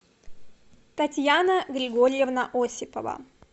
татьяна григорьевна осипова